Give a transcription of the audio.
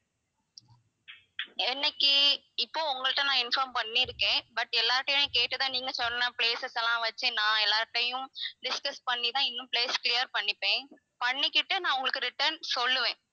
என்னைக்கு இப்போ உங்கள்ட்ட நான் inform பண்ணியிருக்கேன் but எல்லார் கிட்டயும் நான் கேட்டு தான் நீங்க சொன்ன places எல்லாம் வெச்சு நான் எல்லார் கிட்டயும் discuss பண்ணி தான் இன்னும் place clear பண்ணிப்பேன் பண்ணிக்கிட்டு நான் உங்களுக்கு return சொல்லுவேன்